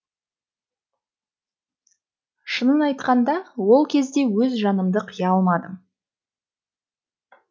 шынын айтқанда ол кезде өз жанымды қия алмадым